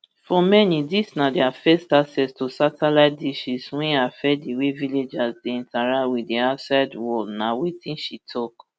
for many dis na dia first access to satellite dishesm wey affect di way villagers dey interact wit di outside worl na wetin she tok